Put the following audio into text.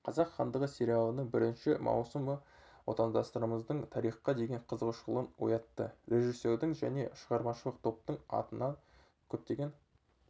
қазақ хандығы сериалының бірінші маусымы отандастарымыздың тарихқа деген қызығушылығын оятты режиссердің және шығармашылық топтың атына көптеген